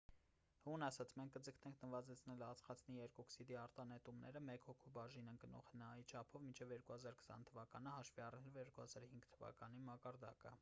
հուն ասաց․«մենք կձգտենք նվազեցնել ածխածնի երկօքսիդի արտանետումները մեկ հոգուն բաժին ընկնող հնա-ի չափով մինչև 2020 թվականը՝ հաշվի առնելով 2005 թվականի մակարդակը»։